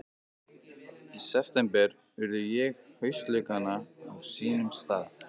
Í september urða ég haustlaukana á sínum stað.